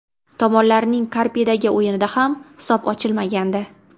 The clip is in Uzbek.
Tomonlarning Karpidagi o‘yinida ham hisob ochilmagandi.